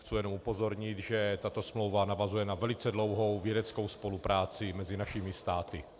Chci jen upozornit, že tato smlouva navazuje na velice dlouhou vědeckou spolupráci mezi našimi státy.